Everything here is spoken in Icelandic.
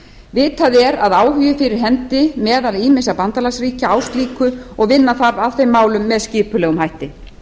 vitað er að áhugi er fyrir hendi meðal ýmissa bandalagsríkja á slíku og vinna þarf að þeim málum með skipulegum hætti